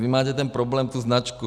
Vy máte ten problém tu značku.